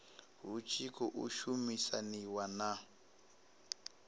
hu tshi khou shumisaniwa na